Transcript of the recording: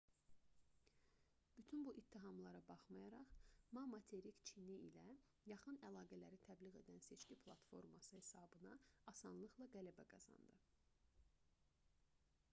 bütün bu ittihamlara baxmayaraq ma materik çini ilə yaxın əlaqələri təbliğ edən seçki platforması hesabına asanlıqla qələbə qazandı